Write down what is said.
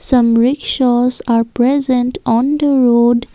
some rickshaws are present on the road.